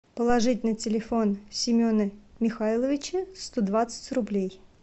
положить на телефон семена михайловича сто двадцать рублей